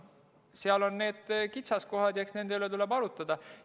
Seal on need kitsaskohad ja eks nende üle tuleb arutada.